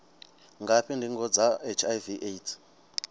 ngafhi ndingo dza hiv aids